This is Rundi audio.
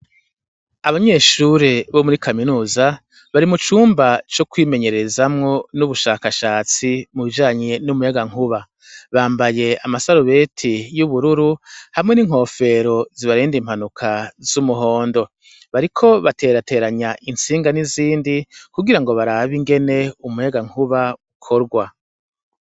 Abanyeshure bo muri kaminuza, bari mucumba co kwimenyerezamwo n'ubushakashatsi mu bijanye n'umuyagankuba, bambaye amasarubeti y'ubururu, hamwe n'inkofero zibarinda impanuka z'umuhondo, bariko baterateranya itsinga n'izindi, kugirango barabe ingene umuyagankuba ukorwa.